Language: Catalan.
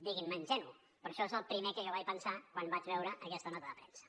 diguin me ingenu però això és el primer que jo vaig pensar quan vaig veure aquesta nota de premsa